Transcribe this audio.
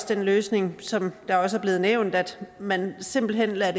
den løsning som også er blevet nævnt at man simpelt hen lader